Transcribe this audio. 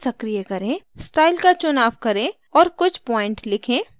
style का चुनाव करें और कुछ प्वॉइंट लिखें